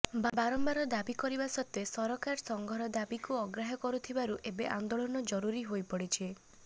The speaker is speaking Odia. ବାରମ୍ବାର ଦାବି କରିବା ସତ୍ତ୍ୱେ ସରକାର ସଂଘର ଦାବିକୁ ଅଗ୍ରାହ୍ୟ କରୁଥିବାରୁ ଏବେ ଆନ୍ଦୋଳନ ଜରୁରୀ ହୋଇପଡିଛି